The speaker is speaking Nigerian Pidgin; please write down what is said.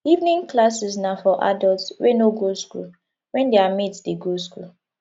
evening classes na for adults wey no go school when their mates de go school